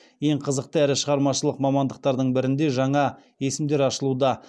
ең қызық әрі шығармашылық мамандықтардың бірінде жаңа есімдер ашылуда